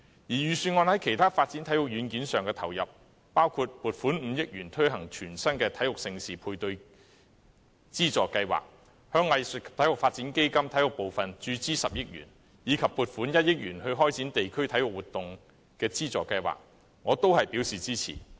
預算案在其他發展體育軟件上的投入，包括撥款5億元推行全新的體育盛事配對資助計劃、向藝術及體育發展基金注資10億元，以及撥款1億元開展地區體育活動資助計劃，我均表示支持。